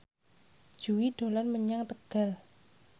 Jui dolan menyang Tegal